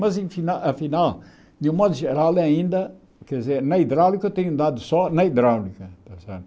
Mas em final afinal, de um modo geral, ele ainda quer dizer na hidráulica eu tenho dado só na hidráulica, está certo?